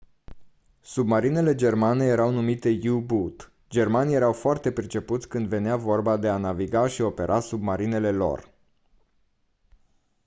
submarinele germane erau numite u-boot germanii erau foarte pricepuți când venea vorba de a naviga și opera submarinele lor